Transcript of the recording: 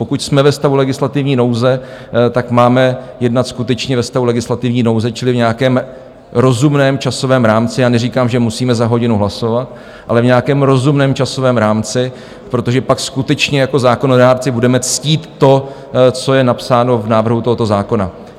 Pokud jsme ve stavu legislativní nouze, tak máme jednat skutečně ve stavu legislativní nouze, čili v nějakém rozumném časovém rámci, a neříkám, že musíme za hodinu hlasovat, ale v nějakém rozumném časovém rámci, protože pak skutečně jako zákonodárci budeme ctít to, co je napsáno v návrhu tohoto zákona.